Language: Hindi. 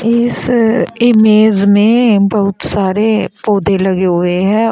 इस इमेज में बहुत सारे पौधे लगे हुए हैं।